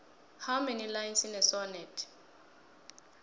how many lines in a sonnet